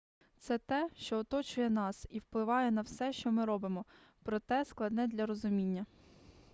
це те що оточує нас і впливає на все що ми робимо проте складне для розуміння